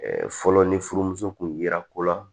fɔlɔ ni furumuso kun yera ko la